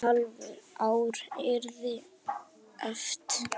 Næsta hálfa ár yrði erfitt.